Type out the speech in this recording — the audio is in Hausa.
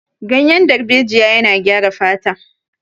Ganyen darbejiya yana gyara fata